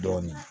Dɔɔnin